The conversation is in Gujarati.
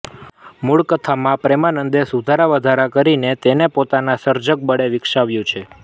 મૂળ કથામાં પ્રેમાનંદે સુધારાવધારા કરીને તેને પોતાના સર્જકબળે વિકસાવ્યું છે